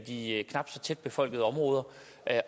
de knap så tæt befolkede områder